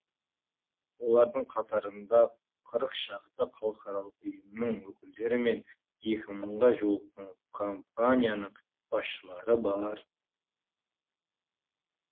олардың қатарында қырық шақты халықаралық ұйымның өкілдері мен екі мыңға жуық компанияның басшылары бар